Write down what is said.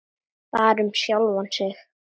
Bara um sjálfan sig.